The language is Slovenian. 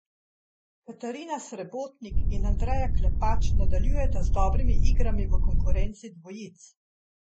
Katarina Srebotnik in Andreja Klepač nadaljujeta z dobrimi igrami v konkurenci dvojic.